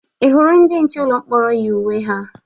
Ị hụrụ ndị nche ụlọ mkpọrọ yi uwe ha?